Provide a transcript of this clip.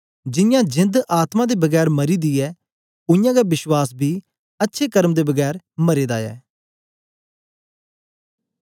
जियां जेंद आत्मा दे बगैर मरी दी ऐ उयांगै विश्वास बी अच्छे कर्म दे बगैर मरे दा ऐ